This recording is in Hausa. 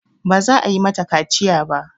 Ba za a yi mata kaciya ba.